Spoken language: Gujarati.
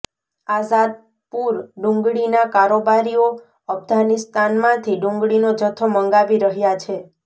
આઝાદ પુર ડુંગળીના કારોબારીઓ અફઘાનિસ્તાનમાંથી ડુંગળીનો જથ્થો મંગાવી રહ્યા છે